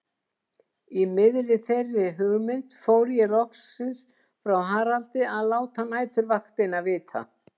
Í miðri þeirri hugmynd fór ég loksins frá Haraldi að láta næturvaktina vita.